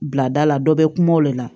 Bila da la dɔ bɛ kuma o de la